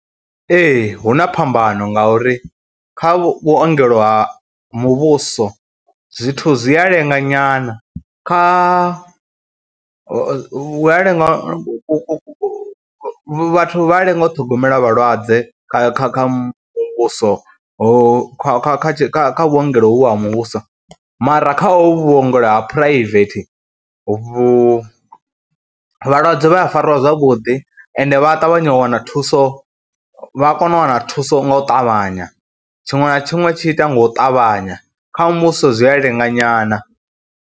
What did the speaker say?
Ee hu na phambano ngauri kha vhuongelo ha muvhuso zwithu zwi a lenga nyana, kha vhu a lenga ku ku ku vhathu vha a lenga u ṱhogomela vhalwadze kha kha kha muvhuso, ho kha kha kha vhuongelo hovhu ha muvhuso mara hovhu vhuongelo ha phuraivethe vhu, vhalwadze vha a farwa zwavhuḓi ende vha a ṱavhanya u wana thuso, vha kona u wana thuso nga u ṱavhanya, tshiṅwe na tshiṅwe tshi itea nga u ṱavhanya, kha muvhuso zwi a lenga nyana.